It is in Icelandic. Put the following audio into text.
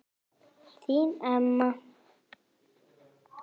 Þín Elma.